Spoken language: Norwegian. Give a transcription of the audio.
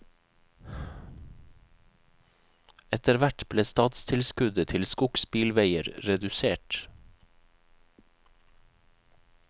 Etterhvert ble statstilskuddet til skogsbilveier redusert.